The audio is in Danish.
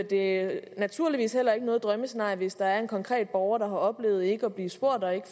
det er naturligvis heller ikke noget drømmescenarie hvis der er en konkret borger der har oplevet ikke at blive spurgt og ikke